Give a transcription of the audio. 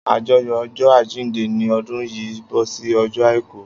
Ajoyọ ọjọ ajinde ni ọdún yìí bọ sí ọjọ àìkú